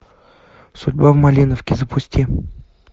судьба в малиновке запусти